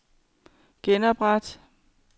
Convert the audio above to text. genopret